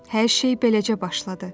Hər şey beləcə başladı.